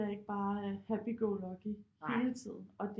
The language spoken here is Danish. Er ikke bare happy go lucky hele tiden og